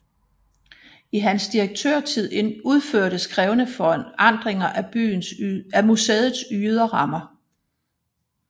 I hans direktørtid udførtes krævende forandringer af museets ydre rammer